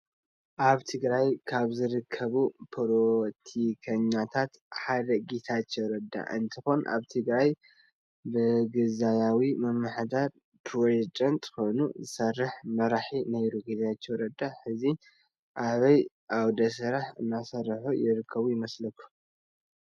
አብ ትግራይ ካብ ዝርከቡ ፖሎቲከኛታተ ሓደ ጌታቸው ረዳ እንትኮን አብ ትግራይ ብግዛያዊ ምምሕዳር ፕሬዜዳንት ኮይን ዝስርሕ መራሒ ነይሩ ።ግታቸው ረዳ ሕዚ አበይ ዓውደ ስራሕ እናሰሩሐ ይርከብ ይመስለኩም?